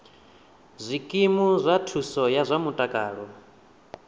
zwikimu zwa thuso ya zwa mutakalo